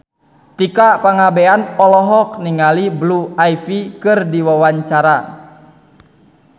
Tika Pangabean olohok ningali Blue Ivy keur diwawancara